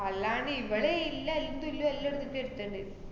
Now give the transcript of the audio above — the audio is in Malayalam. അല്ലാണ്ട് ഇവടെ ഇല്ല അയിന്‍റുല്ലാ ല്ലാ എട്ത്തിട്ട് വരട്ടേന്ന്